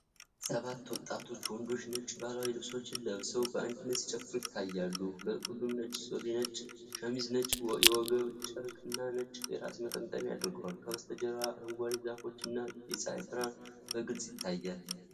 ሰባት ወጣት ወንዶች ነጭ ባህላዊ ልብሶችን ለብሰው በአንድነት ሲጨፍሩ ይታያሉ። ሁሉም ነጭ ሱሪ፣ ነጭ ሸሚዝ፣ ነጭ የወገብ ጨርቅ እና ነጭ የራስ መጠቅለያ አድርገዋል፤ ከበስተጀርባ አረንጓዴ ዛፎች እና የፀሐይ ብርሃን በግልፅ ይታያል።